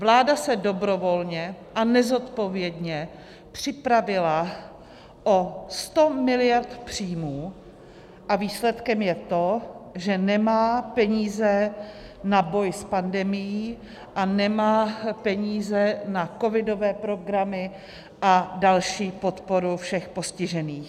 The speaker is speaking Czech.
Vláda se dobrovolně a nezodpovědně připravila o 100 miliard příjmů a výsledkem je to, že nemá peníze na boj s pandemií a nemá peníze na covidové programy a další podporu všech postižených.